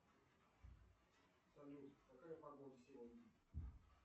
салют какая погода сегодня